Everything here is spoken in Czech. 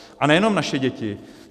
A nejenom naše děti.